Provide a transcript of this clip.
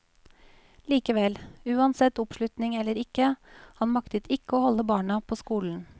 Likevel, uansett oppslutning eller ikke, han maktet ikke å holde barna på skolen.